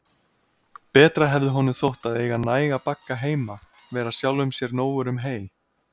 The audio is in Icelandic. Betra hefði honum þótt að eiga næga bagga heima, vera sjálfum sér nógur um hey.